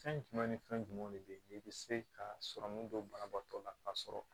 Fɛn jumɛn ni fɛn jumɛnw de bɛ ye i be se ka sɔrɔmu don banabaatɔ la ka sɔrɔ